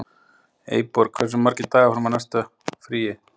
Eyborg, hversu margir dagar fram að næsta fríi?